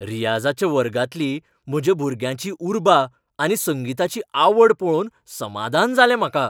रियाझाच्या वर्गांतली म्हज्या भुरग्याची उर्बा आनी संगीताची आवड पळोवन समादान जालें म्हाका.